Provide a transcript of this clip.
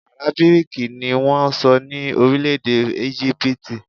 Àrábíìkì ni wọ́n ń sọ ní orílẹ̀-èdè Égípítì